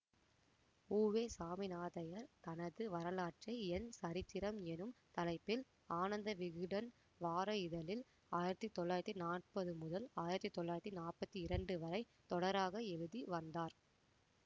உவேசாமிநாதையர் தனது வரலாற்றை என் சரித்திரம் எனும் தலைப்பில் ஆனந்த விகடன் வார இதழில் ஆயிரத்தி தொள்ளாயிரத்தி நாப்பது முதல் ஆயிரத்தி தொள்ளாயிரத்தி நாற்பத்தி இரண்டு வரை தொடராக எழுதி வந்தார்